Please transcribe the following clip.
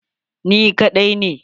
Ni kadai ne